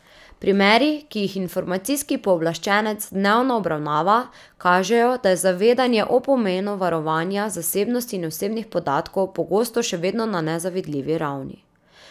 Primeri, ki jih informacijski pooblaščenec dnevno obravnava, kažejo, da je zavedanje o pomenu varovanja zasebnosti in osebnih podatkov pogosto še vedno na nezavidljivi ravni.